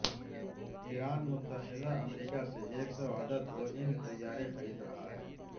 ایران متحدہ امریکہ سے ایک سو عددبوئنگ طیارے خرید رہا ہے